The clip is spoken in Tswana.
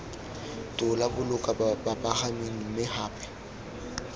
tola boloka bapagami mme gape